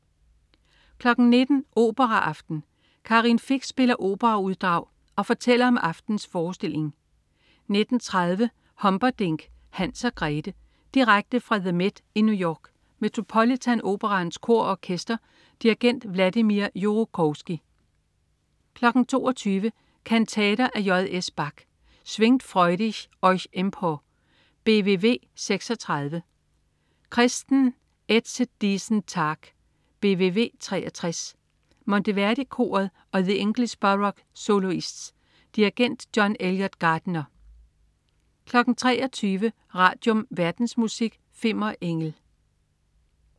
19.00 Operaaften. Karin Fich spiller operauddrag og fortæller om aftenens forestilling 19.30 Humperdinck: Hans og Grete. Direkte fra The MET i New York. Metropolitan Operaens Kor og Orkester. Dirigent: Vladimir Jurowski 22.00 Kantater af J.S. Bach. Schwingt freudig euch empor, BWV 36. Christen, ätzet diesen Tag, BWV 63. Monteverdi Koret og The English Baroque Soloists. Dirigent: John Eliot Gardiner 23.00 Radium. Verdensmusik. Fimmer Engel